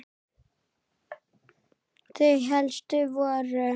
Þau helstu voru